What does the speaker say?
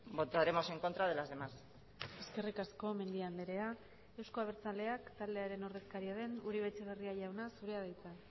votaremos en contra de las demás eskerrik asko mendia andrea euzko abertzaleak taldearen ordezkaria den uribe etxebarria jauna zurea da hitza